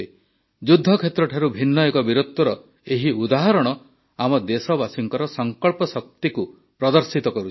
ଯୁଦ୍ଧକ୍ଷେତ୍ରଠାରୁ ଭିନ୍ନ ଏକ ବୀରତ୍ୱର ଏହି ଉଦାହରଣ ଆମ ଦେଶବାସୀଙ୍କ ସଂକଳ୍ପ ଶକ୍ତିକୁ ପ୍ରଦର୍ଶିତ କରୁଛି